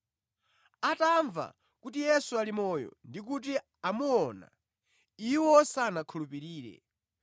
Atamva kuti Yesu ali moyo ndikuti amuona, iwo sanakhulupirire.